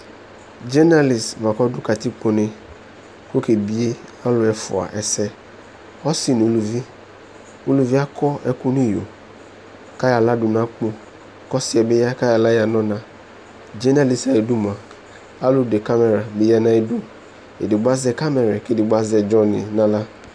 NA bua kɔdu katikpone kʋ ɔkebie alʋ efua ɛsɛɛ ɔsi nu uluvi uluvi akɔ ɛkʋ nʋ iyo kayala dunu akpo kɔsiɛbi ya kayala dunu ɔna NA dumʋa alu zɛ yeyezɛlɛ bi ya nu ayidu edigbo azɛ NA kɛdigbo azɛdzɔ ni nala